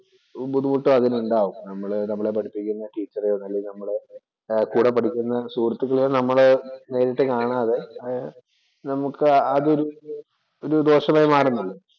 ബുദ്ധിമുട്ട് അതിനുണ്ടാകും. നമ്മളെ പഠിപ്പിക്കുന്ന ടീച്ചറെയോ, അല്ലേ നമ്മുടെ കൂടെ പഠിക്കുന്ന സുഹൃത്തുക്കളെയോ നമ്മള് നേരിട്ട് കാണാതെ നമുക്ക് അതില്‍ ദോഷമായി മാറുന്നില്ലേ.